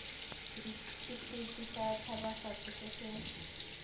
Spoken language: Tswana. setefikeiti sa tshabafatso se se